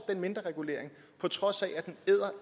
den mindreregulering på trods af at den æder